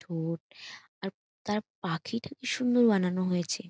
ঠোঁট আর তার পাখিটা কি সুন্দর বানানো হয়েছে।